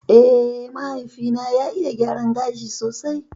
Eh, mahaifi na ya iya gyaran gashi sosai